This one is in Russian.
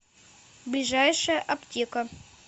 ближайшая аптека